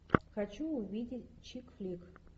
хочу увидеть чик флик